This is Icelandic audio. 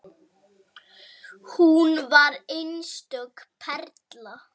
Hún var einstök perla.